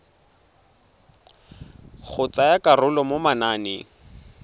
go tsaya karolo mo mananeng